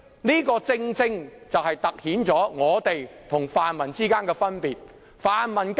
這點正好突顯我們跟泛民之間的分別。